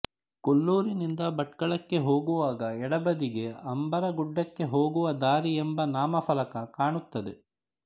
ಕೊಲ್ಲುರಿನಿಂದ ಭಟ್ಕಳಕ್ಕೆ ಹೋಗುವಾಗ ಎಡಬದಿಗೆ ಅಂಬಾರಗುಡ್ಡಕ್ಕೆ ಹೋಗುವ ದಾರಿ ಎಂಬ ನಾಮ ಫಲಕ ಕಾಣುತ್ತದೆ